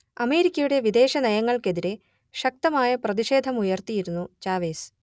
അമേരിക്കയുടെ വിദേശനയങ്ങൾക്കെതിരേ ശക്തമായ പ്രതിഷേധമുയർത്തിയിരുന്നു ചാവെസ്